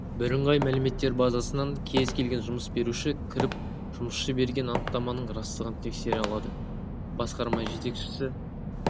бірыңғай мәліметтер базасынан кез келген жұмыс беруші кіріп жұмысшы берген анықтаманың растығын тексере алады басқарма жетекшісі